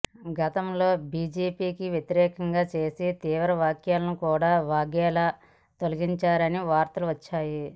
గతంలో బీజేపీకి వ్యతిరేకంగా చేసిన తీవ్ర వ్యాఖ్యలను కూడా వాఘేలా తొలగించారని వార్తలు వచ్చాయి